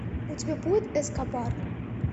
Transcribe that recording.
у тебя будет эскобар